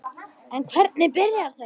En hvernig byrjaði þetta?